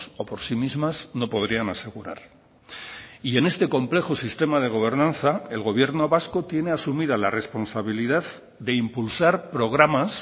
o por sí mismas no podrían asegurar y en este complejo sistema de gobernanza el gobierno vasco tiene asumida la responsabilidad de impulsar programas